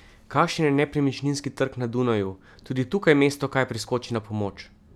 Kakšen je nepremičninski trg na Dunaju, tudi tukaj mesto kaj priskoči na pomoč?